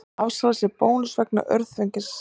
Afsalar sér bónus vegna öngþveitis